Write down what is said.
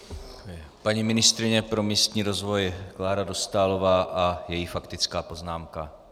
Paní ministryně pro místní rozvoj Klára Dostálová a její faktická poznámka.